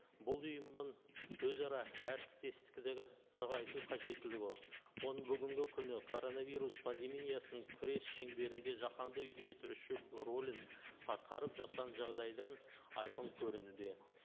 бұл ұйымның өзара әріптестігі нығайту қажеттілігі оның бүгінгі күні коронавирус пандемиясын күрес шеңберінде жаһанды үйлестіруші рөлін атқарып жатқан жағдайдан айқын көрінуде